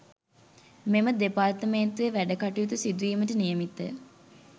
මෙම දෙපාර්තමේන්තුවේ වැඩකටයුතු සිදුවීමට නියමිතය